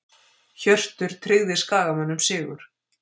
Hjörtur tryggði Skagamönnum sigur